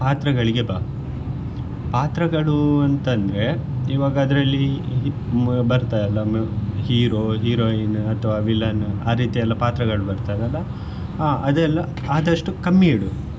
ಪಾತ್ರಗಳಿಗೆ ಬಾ ಪಾತ್ರಗಳು ಅಂತ ಅಂದ್ರೆ ಇವಾಗ ಅದ್ರಲ್ಲಿ ಬರ್ತದಲ್ಲ hero heroin ಅಥವಾ villain ಆ ರೀತಿಯ ಎಲ್ಲ ಪಾತ್ರಗಳು ಬರ್ತದಲ್ಲ ಆ ಅದೆಲ್ಲ ಆದಷ್ಟು ಕಮ್ಮಿಇಡು.